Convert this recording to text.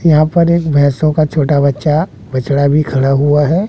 यहां पर एक भैसों का छोटा बच्चा बछड़ा भी खड़ा हुआ है।